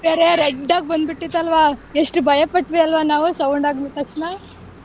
ಅದು ಬೇರೆ red ಆಗ ಬಂದ್ ಬಿಟ್ಟಿತ್ತು ಅಲ್ವಾ ಎಷ್ಟ ಭಯಪಟ್ವಿ ಅಲ್ವಾ ನಾವು sound ಆಗಿದ್ ತಕ್ಷಣ.